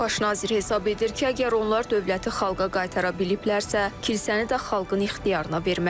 Baş nazir hesab edir ki, əgər onlar dövləti xalqa qaytara biliblərsə, kilsəni də xalqın ixtiyarına verməlidirlər.